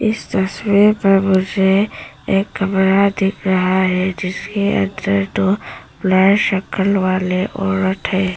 इस तस्वीर में मुझे एक कमरा दिख रहा है जिसके अंदर दो ब्लैक शक्ल वाले औरत है।